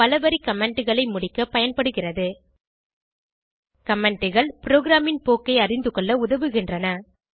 பலவரி commentகளை முடிக்க பயன்படுகிறது Commentகள் ப்ரோகிராமின் போக்கை அறிந்துகொள்ள உதவுகின்றன